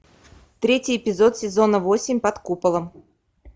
третий эпизод сезона восемь под куполом